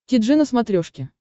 ти джи на смотрешке